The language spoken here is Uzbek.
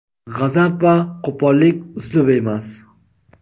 G‘azab va qo‘pollik uslub emas.